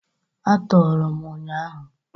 A tọọrọ m ụnyahụ.